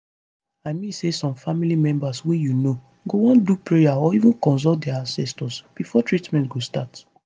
i mean say some family members wey u know go wan do prayer or even consult dia ancestors before treatment go start